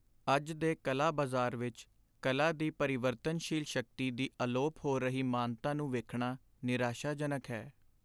ਅੱਜ ਦੇ ਕਲਾ ਬਾਜ਼ਾਰ ਵਿੱਚ ਕਲਾ ਦੀ ਪਰਿਵਰਤਨਸ਼ੀਲ ਸ਼ਕਤੀ ਦੀ ਅਲੋਪ ਹੋ ਰਹੀ ਮਾਨਤਾ ਨੂੰ ਵੇਖਣਾ ਨਿਰਾਸ਼ਾਜਨਕ ਹੈ।